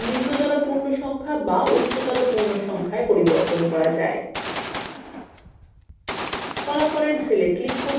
এছাড়াও এই বৈশিষ্ট্যৰ দ্বারা নিম্নতর পূর্ণ সংখ্যা be উচ্চতর পূর্ণ সংখ্যায় পরিবর্তন করা যায়